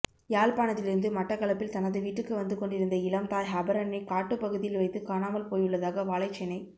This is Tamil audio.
யாழ்ப்பாணத்திலிருந்து மட்டக்களப்பில் தனது வீட்டுக்கு வந்து கொண்டிருந்த இளம் தாய் ஹபரணைக் காட்டுப்பகுதியில் வைத்துக் காணாமல் போயுள்ளதாக வாழைச்சேனை